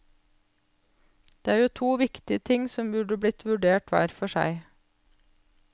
Det er jo to viktige ting som burde blitt vurdert hver for seg.